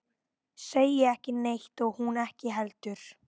Segir ekki neitt og hún ekki heldur.